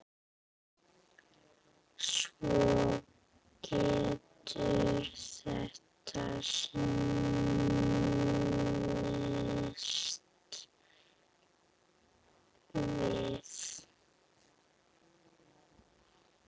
Svo getur þetta snúist við.